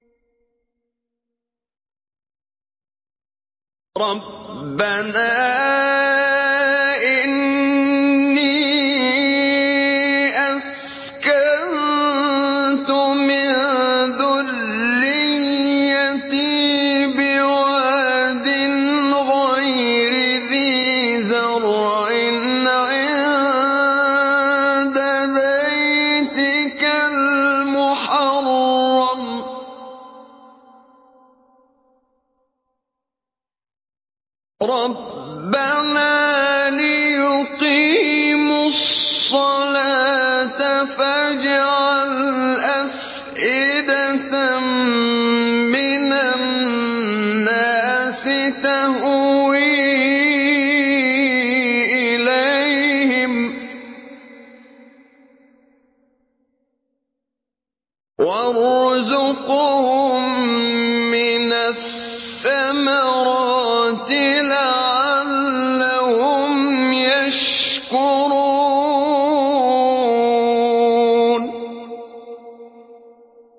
رَّبَّنَا إِنِّي أَسْكَنتُ مِن ذُرِّيَّتِي بِوَادٍ غَيْرِ ذِي زَرْعٍ عِندَ بَيْتِكَ الْمُحَرَّمِ رَبَّنَا لِيُقِيمُوا الصَّلَاةَ فَاجْعَلْ أَفْئِدَةً مِّنَ النَّاسِ تَهْوِي إِلَيْهِمْ وَارْزُقْهُم مِّنَ الثَّمَرَاتِ لَعَلَّهُمْ يَشْكُرُونَ